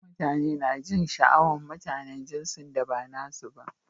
Madigon'mutane na jin sha'awan mutanen jinsin da ba nasi ba.